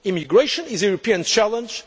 Immigration is a European challenge.